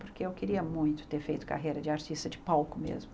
Porque eu queria muito ter feito carreira de artista de palco mesmo.